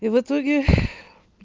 и в итоге